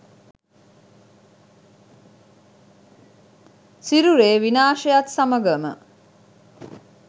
සිරුරේ විනාශයත් සමඟම